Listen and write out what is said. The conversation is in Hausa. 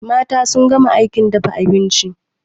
Mata sun gama aikin dafa abinci